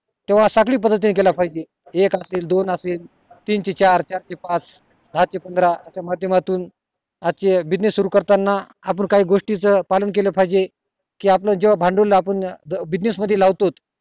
एक असेल दोन असेल तीनशे चार चारशे पाच पंधरा मध्यमातुन आजचे business सुरु करतानाआपण गोष्टी च पालन केले पाहिजे कि आपलं जेव्हा भांडवल आपण business मध्ये लावतो